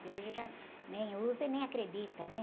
Que hoje já nem usa e nem acredita, né?